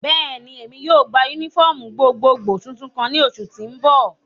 Bẹ́ẹ̀ni, Emi yóò gba unifọmú gbogbogbo tuntun kan ni oṣu ti n bọ.